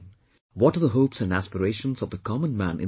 What are the hopes and aspirations of the common man in the country